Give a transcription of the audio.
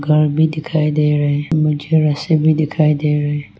घर भी दिखाई दे रहे हैं मुझे रस्सी भी दिखाई दे रहे हैं।